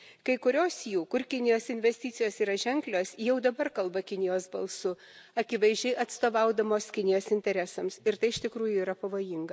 Kai kurios jų, kur Kinijos investicijos yra ženklios, jau dabar kalba Kinijos balsu, akivaizdžiai atstovaudamos Kinijos interesams, ir tai iš tikrųjų yra pavojinga.